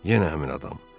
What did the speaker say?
Yenə həmin adam.